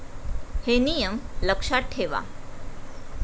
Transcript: हे नियम लक्षात ठेवा.